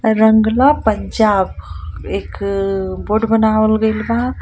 रंगला पंजाब एक बोर्ड बनावल गयिल बा